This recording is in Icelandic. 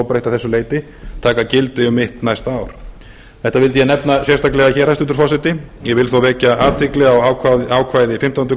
að þessu leyti taka gildi um mitt næsta ár þetta vildi ég nefna sérstaklega hér hæstvirtur forseti ég vil þó vekja athygli á ákvæði fimmtándu